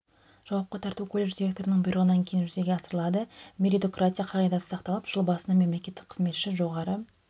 жауапқа тарту колледж директорының бұйрығынан кейін жүзеге асырылады меритократия қағидасы сақталып жыл басынан мемлекеттік қызметші жоғары